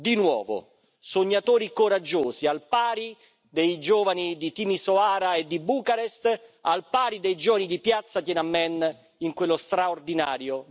Di nuovo sognatori coraggiosi, al pari dei giovani di Timisoara e di Bucarest, al pari dei giovani di piazza Tienanmen in quello straordinario